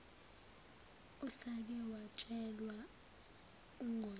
usake watshelwa ungoti